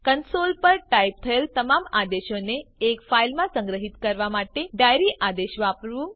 console પર type થયેલ તમામ આદેશોને એક ફાઈલમાં સંગ્રહિત કરવા માટે ડાયરી આદેશ વાપરવું